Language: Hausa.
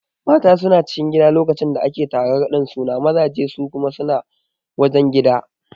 Mata suna cikin gida lokacin da ake taron raɗin suna mazaje su kuma suna wajen gida